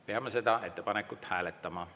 Peame seda ettepanekut hääletama.